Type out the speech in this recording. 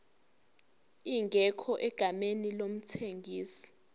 ingekho egameni lomthengisi